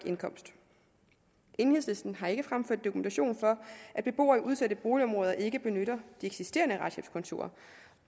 enhedslisten har ikke fremført dokumentation for at beboere i udsatte boligområder ikke benytter de eksisterende retshjælpskontorer